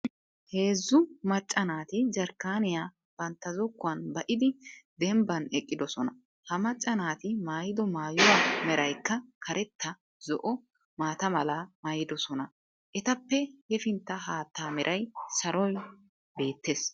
Heezzu macca naati jarkkaaniyaa bantta zokkuwan ba"idi dembban eqqidosona. ha macca naati maayido maayuwaa meraykka karetta, zo"o, maata mala maayidosona ettappe hefttan haatta mera saloy beettees.